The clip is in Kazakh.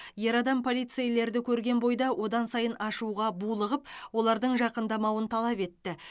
ер адам полицейлерді көрген бойда одан сайын ашуға булығып олардың жақындамауын талап етті